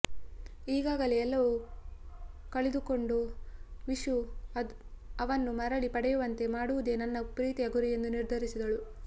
ಈಗಾಗಲೆ ಎಲ್ಲವು ಕಳಿದುಕೊಂಡ ವಿಶು ಅವನ್ನು ಮರಳಿ ಪಡೆಯುವಂತೆ ಮಾಡುವುದೆ ನನ್ನ ಪ್ರೀತಿಯ ಗುರಿ ಎಂದು ನಿರ್ಧರಿಸಿದಳು